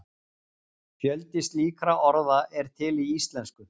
Fjöldi slíkra orða er til í íslensku.